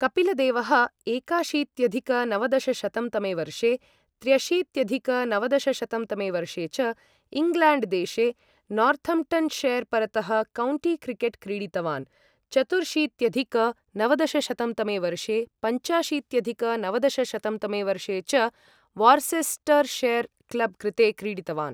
कपिलदेवः एकाशीत्यधिक नवदशशतं तमे वर्षे त्र्यशीत्यधिक नवदशशतं तमे वर्षे च इङ्ग्लेण्ड् देशे नार्थम्प्टन्शैर् परतः कौण्टी क्रिकेट् क्रीडितवान्, चतुर्शीत्यधिक नवदशशतं तमे वर्षे पञ्चाशीत्यधिक नवदशशतं तमे वर्षे च वार्सेस्टर्शैर् क्लब् कृते क्रीडितवान्।